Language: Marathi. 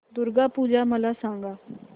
दुर्गा पूजा मला सांग